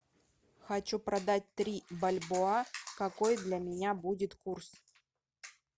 хочу продать три бальбоа какой для меня будет курс